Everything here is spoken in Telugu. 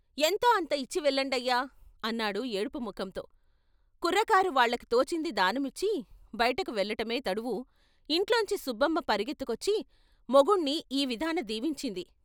" ఎంతో అంత ఇచ్చి వెళ్ళండయ్యా " అన్నాడు ఏడుపు ముఖంతో కుర్రకారు వాళ్ళకి తోచింది దానమిచ్చి బయటకు వెళ్ళటమే తడువు ఇంట్లోంచి సుబ్బమ్మ పరుగెత్తుకొచ్చి మొగుణ్ణి ఈ విధాన దీవించింది.